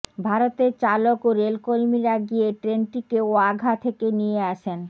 ভারতের চালক ও রেলকর্মীরা গিয়ে ট্রেনটিকে ওয়াঘা থেকে নিয়ে আসেন